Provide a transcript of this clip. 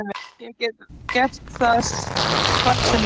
Ég get gert það hvar sem er.